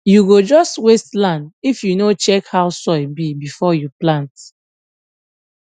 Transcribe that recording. you go just waste land if you no check how soil be before you plant